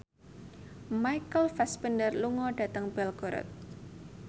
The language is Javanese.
Michael Fassbender lunga dhateng Belgorod